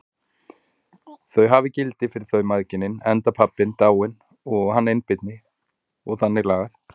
Þau hafi gildi fyrir þau mæðginin, enda pabbinn dáinn og hann einbirni og þannig lagað.